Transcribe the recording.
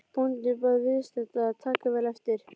Bóndinn bað viðstadda að taka vel eftir.